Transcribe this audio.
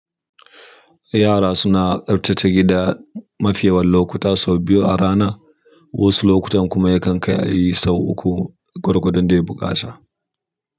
Yara suna tsaftace gida mafi yawan lokuta sau biyu a rana wasu lokutan kuma yakan kai ayi sau biyu ko sau uku gwargwadon buƙata.